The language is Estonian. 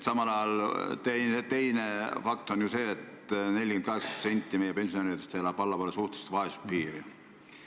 Samal ajal teine fakt on see, et 48% meie pensionäridest elab allpool suhtelise vaesuse piiri.